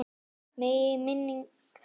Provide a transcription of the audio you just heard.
Megi minning hans lifa.